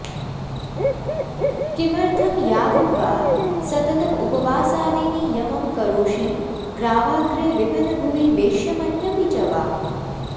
किमर्थं यागं वा सततमुपवासादिनियमं करोषि ग्रावाग्रे विपिनभुवि वेश्मन्यपि च वा